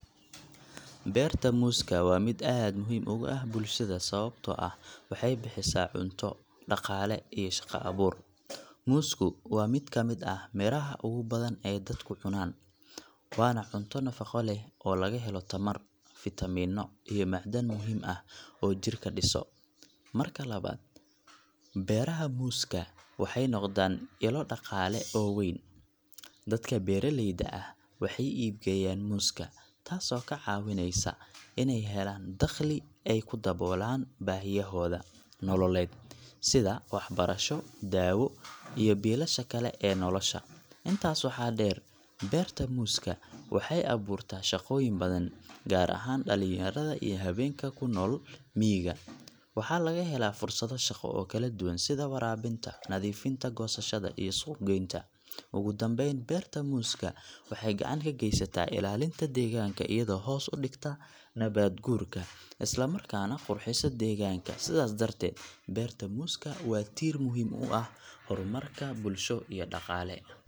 Beerta muuska waa mid aad muhiim ugu ah bulshada sababtoo ah waxay bixisaa cunto, dhaqaale, iyo shaqo abuur. Muusku waa mid ka mid ah miraha ugu badan ee dadku cunaan, waana cunto nafaqo leh oo laga helo tamar, fiitamiinno, iyo macdan muhiim ah oo jirka dhiso. Marka labaad, beeraha muuska waxay noqdaan ilo dhaqaale oo weyn. Dadka beeraleyda ah waxay iib geeyaan muuska, taasoo ka caawisa inay helaan dakhli ay ku daboolaan baahiyahooda nololeed sida waxbarasho, daawo, iyo biilasha kale ee nolosha. Intaas waxaa dheer, beerta muuska waxay abuurtaa shaqooyin badan, gaar ahaan dhalinyarada iyo haweenka ku nool miyiga. Waxaa laga helaa fursado shaqo oo kala duwan sida waraabinta, nadiifinta, goosashada, iyo suuq-geynta. Ugu dambeyn, beerta muuska waxay gacan ka geysataa ilaalinta deegaanka iyadoo hoos u dhigta nabaad-guurka, isla markaana qurxisa deegaanka. Sidaas darteed, beerta muusku waa tiir muhiim u ah horumarka bulsho iyo dhaqaale.